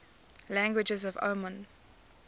languages of oman